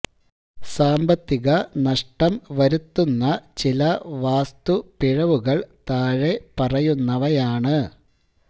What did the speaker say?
സാമ്പത്തിക നഷ്ടം വരുത്തുന്ന ചില വാസ്തു പിഴവുകള് താഴെ പറയുന്നവയാണ്